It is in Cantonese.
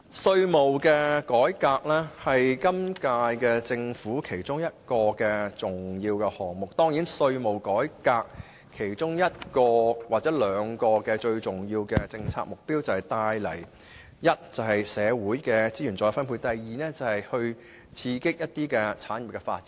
稅務改革是今屆政府其中一個重要項目，稅務改革其中兩個最重要的政策目標是：第一，促成社會資源再分配；第二，刺激一些產業的發展。